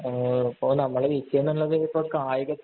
ഇപ്പൊ നമ്മുടെ വിഷയം എന്നുള്ളത് ഇപ്പൊ കായിക